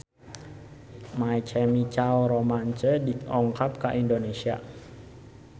My Chemical Romance dongkap ka Indonesia